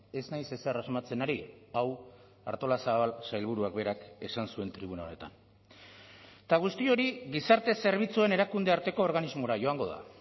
ez naiz ezer asmatzen ari hau artolazabal sailburuak berak esan zuen tribuna honetan eta guzti hori gizarte zerbitzuen erakundearteko organismora joango da